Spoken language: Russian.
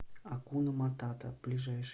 акуна матата ближайший